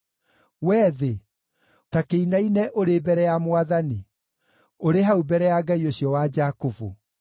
Wee thĩ, ta kĩinaine ũrĩ mbere ya Mwathani, ũrĩ hau mbere ya Ngai ũcio wa Jakubu,